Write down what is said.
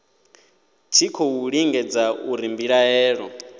tshi khou lingedza uri mbilaelo